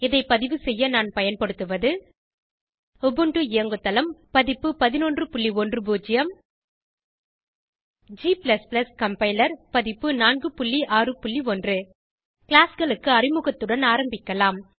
இதை பதிவு செய்ய நான் பயன்படுத்துவது உபுண்டு இயங்குதளம் பதிப்பு 1110 g கம்பைலர் பதிப்பு 461 classகளுக்கு அறிமுகத்துடன் ஆரம்பிக்கலாம்